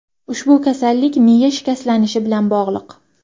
Ushbu kasallik miya shikastlanishi bilan bog‘liq.